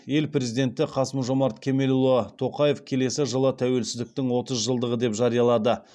ел президенті қасым жомарт кемелұлы тоқаев келесі жылы тәуелсіздіктің отыз жылдығы деп жариялады